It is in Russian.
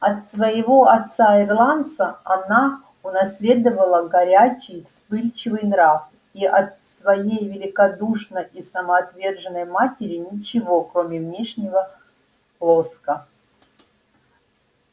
от своего отца ирландца она унаследовала горячий вспыльчивый нрав и от своей великодушной и самоотверженной матери ничего кроме внешнего лоска